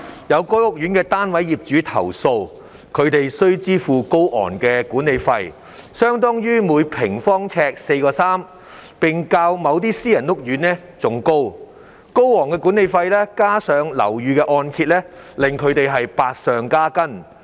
有該屋苑的單位業主投訴，他們須支付高昂的管理費，相當於每平方呎4元3角，並較某些私人屋苑還要高；高昂的管理費加上樓宇按揭還款，令他們百上加斤。